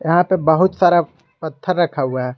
यहां पे बहुत सारा पत्थर रखा हुआ है।